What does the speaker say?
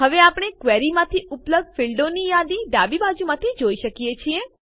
હવે આપણે ક્વેરીમાંથી ઉપલબ્ધ ફીલ્ડોની યાદી ડાબી બાજુ જોઈ શકીએ છીએ